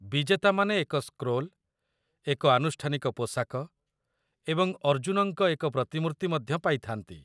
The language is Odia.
ବିଜେତାମାନେ ଏକ ସ୍କ୍ରୋଲ୍, ଏକ ଆନୁଷ୍ଠାନିକ ପୋଷାକ ଏବଂ ଅର୍ଜୁନଙ୍କ ଏକ ପ୍ରତିମୂର୍ତ୍ତି ମଧ୍ୟ ପାଇଥା'ନ୍ତି।